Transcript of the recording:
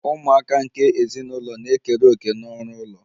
Ụmụaka nke ezinụlọ na-ekere òkè n'ọrụ ụlọ